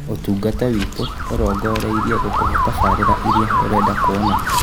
Ũtungata witũ ũrongoreirie gũkũhe tabarĩra iria ũrenda kwona